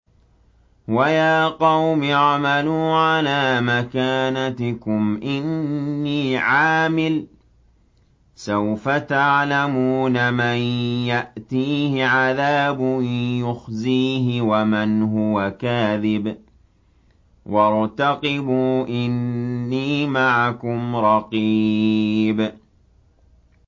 وَيَا قَوْمِ اعْمَلُوا عَلَىٰ مَكَانَتِكُمْ إِنِّي عَامِلٌ ۖ سَوْفَ تَعْلَمُونَ مَن يَأْتِيهِ عَذَابٌ يُخْزِيهِ وَمَنْ هُوَ كَاذِبٌ ۖ وَارْتَقِبُوا إِنِّي مَعَكُمْ رَقِيبٌ